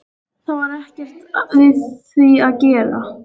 Það var ekkert við því að gera.